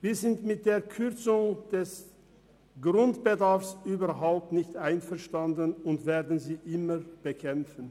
Wir sind mit der Kürzung des Grundbedarfs überhaupt nicht einverstanden und werden sie immer bekämpfen.